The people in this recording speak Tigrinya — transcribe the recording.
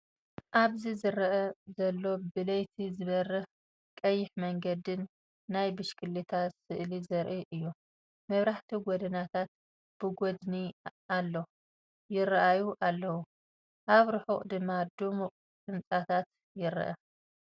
ኣብዚ ዝረአ ዘሎ ብለይቲ ዝበርህ ቀይሕ መንገዲን ናይ ብሽክለታ ስእሊ ዘርኢ እዩ። መብራህቲ ጎደናታት ብጐድኒ ኣሎ ይራኣዩ ኣለው፣ ኣብ ርሑቕ ድማ ድሙቕ ህንጻታት ይርአ።